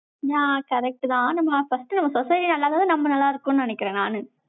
நான் correct தான், நம்ம first நம்ம society யா இருந்தாதான், நம்ம நல்லா இருக்கும்னு நினைக்கிறேன், நானு.